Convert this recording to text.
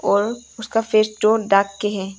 और उसका फेस टो डाक के है।